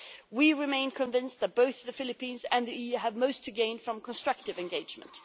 We remain convinced that both the Philippines and the EU have most to gain from constructive engagement.